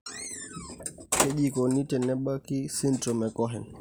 Kaji eikoni tenebaki esindirom eCohen?